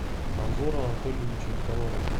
анзора анатольевича никонорова